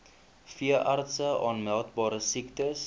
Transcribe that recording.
veeartse aanmeldbare siektes